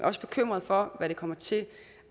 også bekymret for hvad det kommer til